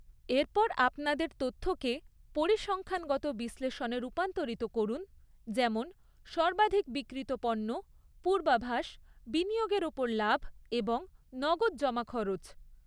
এরপর আপনাদের তথ্যকে পরিসংখ্যানগত বিশ্লেষণে রূপান্তরিত করুন, যেমন সর্বাধিক বিক্রিত পণ্য, পূর্বাভাস, বিনিয়োগের ওপর লাভ এবং নগদ জমাখরচ।